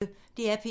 DR P1